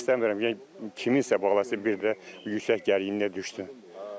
İstəmirəm, yəni kiminsə balası bir də yüksək gərginliyə düşsün.